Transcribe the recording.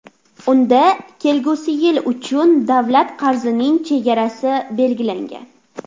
Unda kelgusi yil uchun davlat qarzining chegarasi belgilangan.